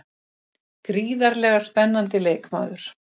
Gríðarlega spennandi leikmaður.